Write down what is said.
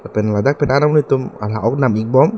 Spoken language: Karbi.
lapen ladak penang an amonit atum lang ok nam ik bom.